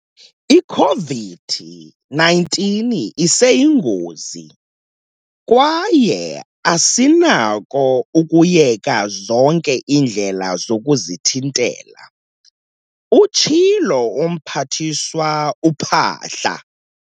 "I-COVID-19 iseyingozi kwaye asinako ukuyeka zonke iindlela zokuzithintela," utshilo uMphathiswa uPhaahla.